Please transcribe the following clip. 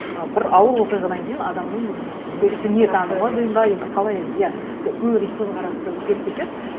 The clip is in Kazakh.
ы бір ауыр оқиғадан кейін адамның несі деймін бе енді қалай енді иә өмірдегі көзқарасы өзгеріп кетеді